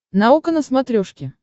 наука на смотрешке